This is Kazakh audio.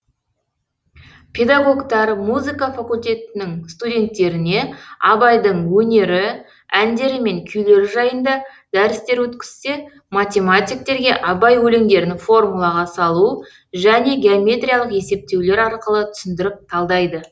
педагогтар музыка факультетінің студенттеріне абайдың өнері әндері мен күйлері жайында дәрістер өткізсе математиктерге абай өлеңдерін формулаға салу және геометриялық есептеулер арқылы түсіндіріп талдайды